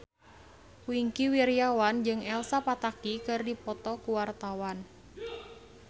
Wingky Wiryawan jeung Elsa Pataky keur dipoto ku wartawan